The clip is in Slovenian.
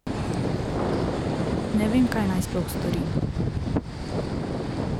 Ne vem, kaj naj sploh storim.